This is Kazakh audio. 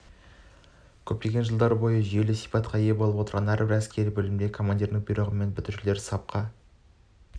көптеген жылдар бойы ол жүйелі сипатқа ие болып отыр әрбір әскери бөлімде командирдің бұйрығымен бітірушілерді сапқа